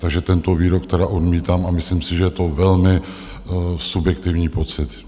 Takže tento výrok tedy odmítám a myslím si, že je to velmi subjektivní pocit.